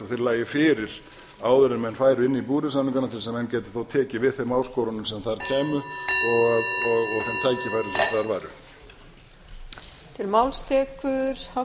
þeir lægju fyrir áður en menn færu inn í búvörusamningana til þess að menn gætu þá tekið við þeim áskorunum sem þar kæmu og þeim tækifærum sem þar væru